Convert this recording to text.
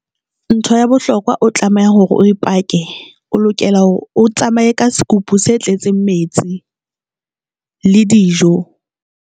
Ntho ya bohlokwa o tlameha hore o ipake, o lokela hore o tsamaye ka sekopo se tletseng metsi le dijo.